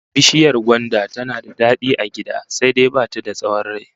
Bishiyar gwanda tana da dadi a gida, sai dai ba ta da tsawon rai